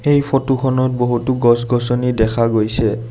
এই ফটো খনত বহুতো গছ-গছনি দেখা গৈছে।